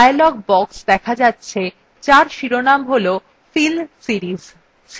একটি dialog box দেখা যাচ্ছে যার শিরোনাম হল fill series